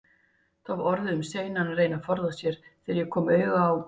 Það var orðið um seinan að reyna að forða sér, þegar ég kom auga á